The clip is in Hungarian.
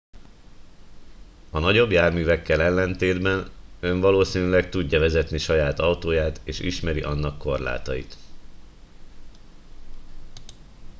a nagyobb járművekkel ellentétben ön valószínűleg tudja vezetni saját autóját és ismeri annak korlátait